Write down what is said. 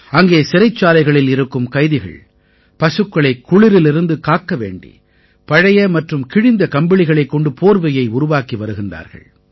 அங்கே சிறைச்சாலைகளில் இருக்கும் கைதிகள் பசுக்களைக் குளிரிலிருந்து காக்க வேண்டி பழைய மற்றும் கிழிந்த கம்பளிகளைக் கொண்டு போர்வையை உருவாக்கி வருகிறார்கள்